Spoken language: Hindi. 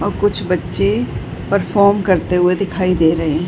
और कुछ बच्चे परफॉर्म करते हुए दिखाई दे रहे --